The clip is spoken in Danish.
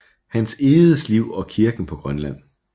Hans Egedes liv og kirken på Grønland